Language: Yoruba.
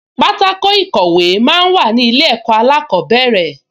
Pátákò ìkọ̀wé máa ń wà ní ilé ẹ̀kọ́ alákọ̀ọ́bẹ̀rẹ̀